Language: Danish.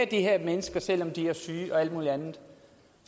de her mennesker selv om de er syge og alt muligt andet